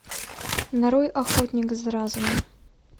нарой охотник за разумом